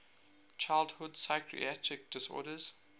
childhood psychiatric disorders